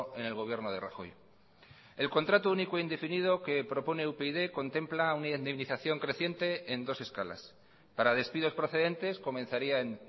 en el gobierno de rajoy el contrato único indefinido que propone upyd contempla una indemnización creciente en dos escalas para despidos procedentes comenzaría en